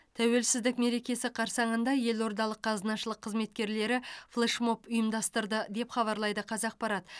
тәуелсіздік мерекесі қарсаңында елордалық қазынашылық қызметкерлері флешмоб ұйымдастырды деп хабарлайды қазақпарат